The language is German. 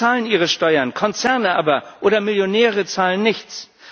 Sie zahlen ihre Steuern, Konzerne aber oder Millionäre zahlen nichts.